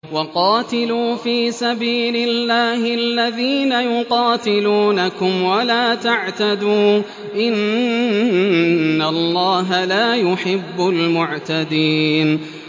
وَقَاتِلُوا فِي سَبِيلِ اللَّهِ الَّذِينَ يُقَاتِلُونَكُمْ وَلَا تَعْتَدُوا ۚ إِنَّ اللَّهَ لَا يُحِبُّ الْمُعْتَدِينَ